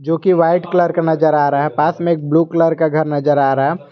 जोकि white colour का नजर आ रहा है पास में ब्लू कलर का घर नजर आ रहा है।